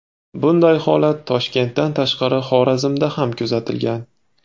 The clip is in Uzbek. Bunday holat Toshkentdan tashqari Xorazmda ham kuzatilgan .